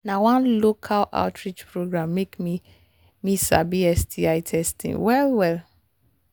na one local outreach program make me me sabi sti testing well well